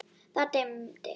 Það dimmdi.